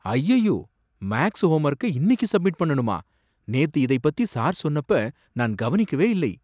அய்யய்யோ, மேக்ஸ் ஹோம்வொர்க்க இன்னிக்கு சப்மிட் பண்ணணுமா? நேத்து இதைப் பத்தி சார் சொன்னப்ப நான் கவனிக்கவே இல்லை.